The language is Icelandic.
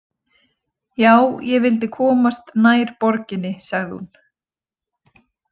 Já, ég vildi komast nær borginni, sagði hún.